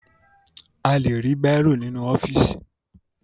A lè rí bàírò nínú ọ́fíìsì